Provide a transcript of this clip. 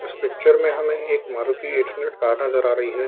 इस पिक्चर में हमें एक मारुती एट हंड्रेड कार नजर आ रही है ।